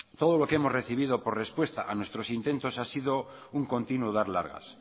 todo lo que hemos recibido por respuestas a nuestros intentos ha sido un continuo dar largas